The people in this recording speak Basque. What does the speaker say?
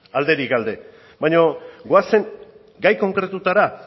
alderik alde baina goazen gai konkretuetara